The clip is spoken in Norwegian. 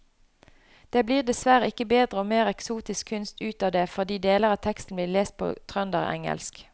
Det blir dessverre ikke bedre og mer eksotisk kunst ut av det fordi deler av teksten blir lest på trønderengelsk.